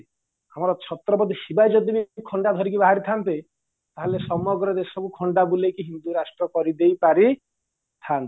ଆମର ଛତ୍ରବାଦି ଶିବାଜୀ ଯଦିବି ଖଣ୍ଡା ଧରିକି ବାହାରିଥାନ୍ତେ ତାହାଲେ ସମଗ୍ର ଦେଶକୁ ଖଣ୍ଡା ବୁଲେଇକି ହିନ୍ଦୁ ରାଷ୍ଟ୍ର କରିଦେଇଥାନ୍ତେ